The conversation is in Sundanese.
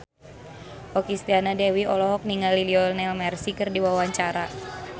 Okky Setiana Dewi olohok ningali Lionel Messi keur diwawancara